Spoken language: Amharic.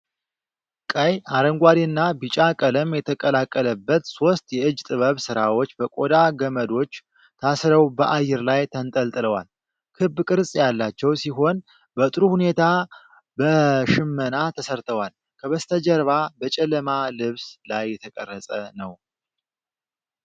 ቀይ፣ አረንጓዴና ቢጫ ቀለም የተቀላቀለበት ሦስት የእጅ ጥበብ ሥራዎች በቆዳ ገመዶች ታስረው በአየር ላይ ተንጠልጥለዋል። ክብ ቅርጽ ያላቸው ሲሆን፣ በጥሩ ሁኔታ በሽመና ተሠርተዋል። ከበስተጀርባ በጨለማ ልብስ ላይ የተቀረጸ ነው።